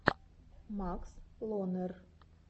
макс лонер